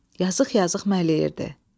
Yazıq-yazıq mələyirdi.